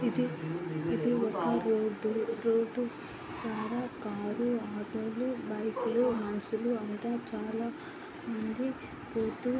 ఇది ఇది ఒక రూటు రూటు కాడా క్రాలు ఆటోలు బైకలు మనుషులు అంత చాల మంది పోతూ--